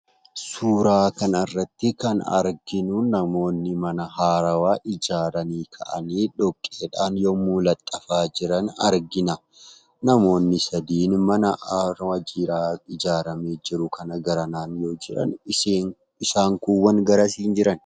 Suuraa kanarratti kan arginuu namoonni mana haarawwaa ijaaranii ka'anii dhoqqeedhaan yommuu laxxafaa jiran argina. Namoonnni sadiin mana haarawwaa ijaarramee jiru kana garanaan yoo jiran isaan kuuwwan garasiin jiran.